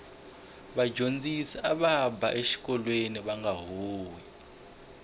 vadyondzisi ava ba exikolweni vanga huhwi